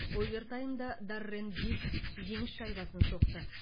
овертаймда даррен диц жеңіс шайбасын соқты